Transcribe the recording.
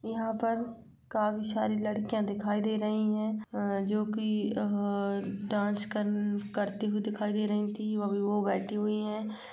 यहाँ पर काफी सारी लड़कियाँ दिखाई दे रही हैं अ जोकि अह डांस कर्न करती हुई दिखाई दे रही थीं। अभी वो बैठी हुई हैं।